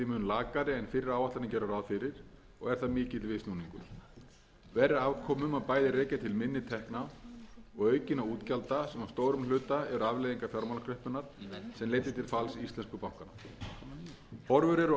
lakari en fyrri áætlanir gerðu ráð fyrir og er það mikill viðsnúningur verri afkomu má bæði rekja til minni tekna og aukinna útgjalda sem að stórum hluta eru afleiðingar fjármálakreppunnar sem leiddi til falls íslensku bankanna horfur eru